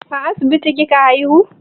A asibiti kika haihu?